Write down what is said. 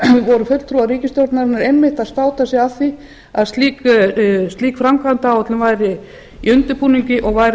voru fulltrúar ríkisstjórnarinnar einmitt að státa sig af því að slík framkvæmdaáætlun væri í undirbúningi og væri að ljúka en ekkert hefur